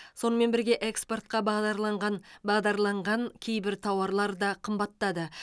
сонымен бірге экспортқа бағдарланған бағдарланған кейбір тауарлар да қымбаттады